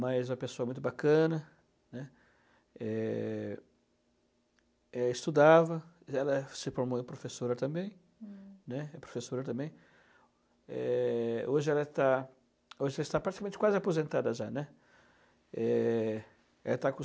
mas uma pessoa muito bacana, né, é, ela estudava, ela se formou em professora também, uhum, né, é professora também, é, hoje ela está hoje já está praticamente quase aposentada já, né, ela está com